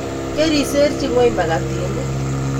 Keriserchi ngweny makatinik